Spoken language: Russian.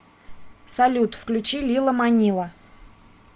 салют включи лила манила